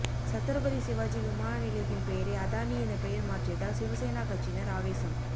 சத்ரபதி சிவாஜி விமான நிலையத்தின் பெயரை அதானி என பெயர் மாற்றியதால் சிவசேனா கட்சியினர் ஆவேசம்